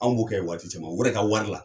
Anw b'o kɛ yen waati caman u yɛrɛ ka wari la